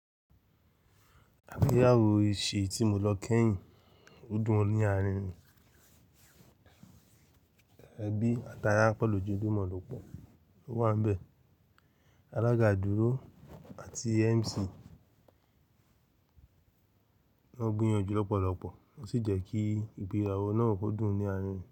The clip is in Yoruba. Igbéyàwó ìṣe tí mo lọ kẹ́yìn, ó dùn oní àárínrin. Ẹbí àti ará pẹ̀lú ojulumọ̀ lọ pọ̀ ló wà níbẹ̀. Alága dúró àti MC ló gbìyànjú lọ́pọ̀lọpọ̀, ó sì jẹ́ kí ìgbéyàwó náà kó dùn o ní àárínrin.